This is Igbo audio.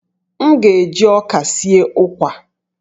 M ga-eji ọka sie ụkwa